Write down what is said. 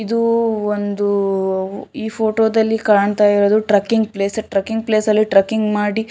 ಇದು ಒಂದು ಈ ಫೋಟೋ ದಲ್ಲಿ ಕಾಣ್ತಾ ಇರೂದು ಟ್ರಾಕಿಂಗ್ ಪ್ಲೇಸ್ ಟ್ರಾಕಿಂಗ್ ಪ್ಲೇಸ್ ಅಲ್ಲಿ ಟ್ರಾಕಿಂಗ್ ಮಾಡಿ --